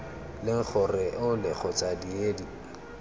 leng gore ole kgotsa diedi